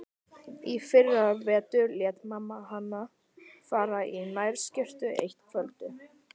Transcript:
Í fyrravetur lét mamma hana fara í nærskyrtu eitt kvöldið.